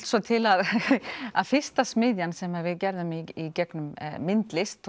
svo til að að fyrsta smiðjan sem við gerðum í gegnum myndlist